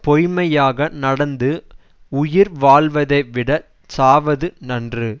பொய்மையாக நடந்து உயிர் வாழ்வதைவிடச் சாவது நன்று